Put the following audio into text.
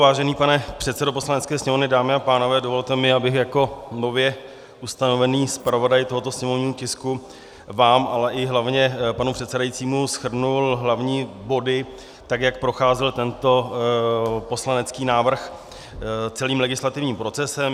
Vážený pane předsedo Poslanecké sněmovny, dámy a pánové, dovolte mi, abych jako nově ustanovený zpravodaj tohoto sněmovního tisku vám, ale i hlavně panu předsedajícímu shrnul hlavní body, tak jak procházel tento poslanecký návrh celým legislativním procesem.